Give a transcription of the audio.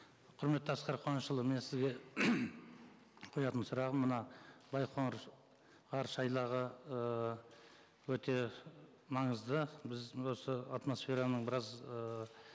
құрметті асқар қуанышұлы мен сізге қоятын сұрағым мына байқоңыр ғарышайлағы ыыы өте маңызды біз осы атмосфераның біраз ы